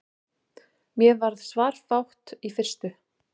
Mér varð svarafátt í fyrstu.